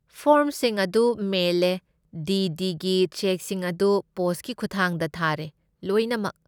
ꯐꯣꯔꯝꯁꯤꯡ ꯑꯗꯨ ꯃꯦꯜꯂꯦ, D. D. ꯒꯤ ꯆꯦꯛꯁꯤꯡ ꯑꯗꯨ ꯄꯣꯁꯠꯀꯤ ꯈꯨꯠꯊꯥꯡꯗ ꯊꯥꯔꯦ, ꯂꯣꯏꯅꯃꯛ꯫